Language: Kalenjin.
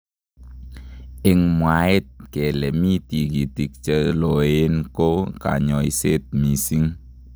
eng mwaet kele mi tikitik cheloen koo kanyoiset missing.